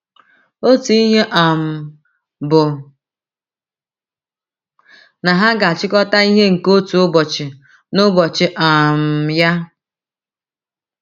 Otu ihe um bụ na ha ‘ ga - achịkọta ihe nke otu ụbọchị n’ụbọchị um ya. ’